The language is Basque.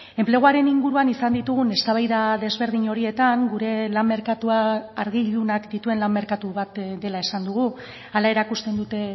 enpleguaren inguruan izan ditugun eztabaida desberdin horietan gure lan merkatua argi ilunak dituen lan merkatu bat dela esan dugu hala erakusten dute